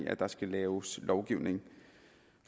at der skal laves lovgivning